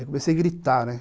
Aí eu comecei a gritar, né?